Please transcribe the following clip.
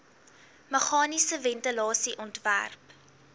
meganiese ventilasie ontwerp